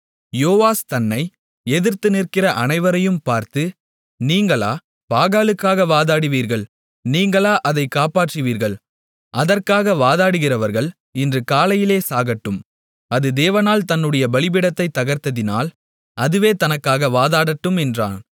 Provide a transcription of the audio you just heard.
யோவாஸ் தன்னை எதிர்த்து நிற்கிற அனைவரையும் பார்த்து நீங்களா பாகாலுக்காக வாதாடுவீர்கள் நீங்களா அதைக் காப்பாற்றுவீர்கள் அதற்காக வாதாடுகிறவர்கள் இன்று காலையிலே சாகட்டும் அது தேவனானால் தன்னுடைய பலிபீடத்தைத் தகர்த்ததினால் அதுவே தனக்காக வாதாடட்டும் என்றான்